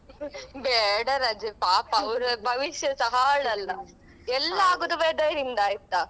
t ಬೇಡ ರಜೆ ಪಾಪ ಅವ್ರ ಭವಿಷ್ಯಸ ಹಾಳಲ್ಲಾ ಎಲ್ಲ ಆಗುದು weather ಯಿಂದ ಆಯ್ತಾ.